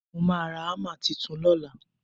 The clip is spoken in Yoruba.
mo ma ra hammer Titun lọla